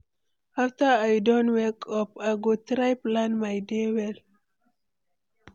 After I don wake up, I go try plan my day well.